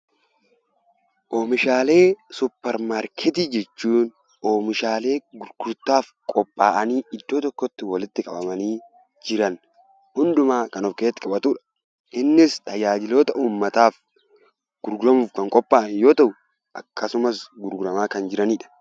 Oomishaalee suppermaarketii jechuun oomishaalee gurgurtaaf qophaa'anii iddoo tokkotti walitti qabamanii jiran hundumaa kan of keessatti qabatuu dha. Innis tajaajiloota ummataaf gurguramuuf kan qophaa'an yoo ta'u, akkasumas gurguramaa kan jirani dha.